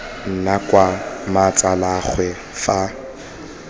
nna kwa ga mmatsalaagwe fa